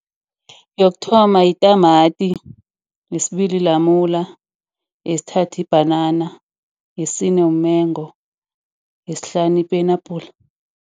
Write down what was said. Yokuthoma yitamati. Yesibili lamula. Yesithathwa ibhanana. Yesine umengo. Yesihlanu ipenapula.